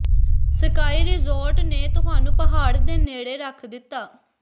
sky resort ਨੇ ਤੁਹਾਨੂੰ ਪਹਾੜ ਦੇ ਨੇੜੇ ਰੱਖ ਦਿੱਤਾ